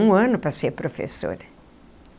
Um ano para ser professora.